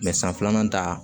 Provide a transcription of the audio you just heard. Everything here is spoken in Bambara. san filanan ta